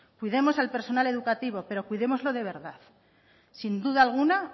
cuidemos al personal educativo pero cuidémoslo de verdad sin duda alguna